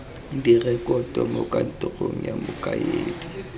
direkoto mo kantorong ya mokaedi